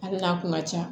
Ale n'a kun ka ca